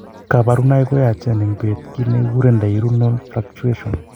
Kabarunaik ko yachen en bet , kit negikuren diurnal fluctuation